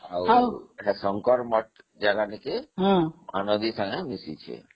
ଆଉ ଶଙ୍କର ମଠ ଜାଗା ହେଇକି ମହାନଦୀ ସାଙ୍ଗେ ମିଶିଛି